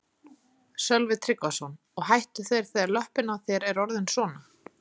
Sölvi Tryggvason: Og hættu þeir þegar að löppin á þér er orðin svona?